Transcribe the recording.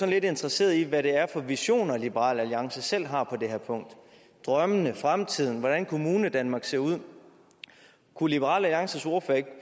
lidt interesseret i hvad det er for visioner liberal alliance selv har på det her punkt drømmene fremtiden hvordan kommunedanmark ser ud kunne liberal alliances ordfører ikke